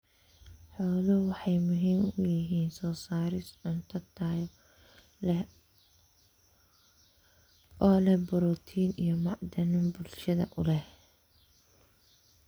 Xooluhu waxay muhiim u yihiin soo saarista cunto tayo leh oo leh borotiin iyo macdano bulshada u leh.